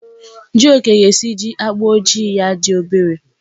Jioke ga-esiji agba ojii ya dị obere.